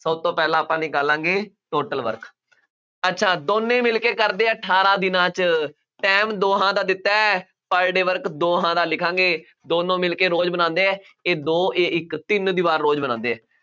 ਸਭ ਤੋਂ ਪਹਿਲਾਂ ਨਿਕਾਲਾਂਗੇ total work ਅੱਛਾ ਦੋਨੇ ਮਿਲਕੇ ਕਰਦੇ ਆ, ਅਠਾਰਾਂ ਦਿਨਾਂ ਚ, time ਦੋਹਾਂ ਦਾ ਦਿੱਤਾ, per day work ਦੋਹਾਂ ਦਾ ਲਿਖਾਂਗੇ, ਦੋਨੋ ਮਿਲਕੇ ਰੋਜ਼ ਬਣਾਉਂਦੇ ਆ, ਇਹ ਦੋ, ਇਹ ਇੱਕ, ਤਿੰਨ ਦੀਵਾਰ ਰੋਜ਼ ਬਣਾਉਂਦੇ ਆ,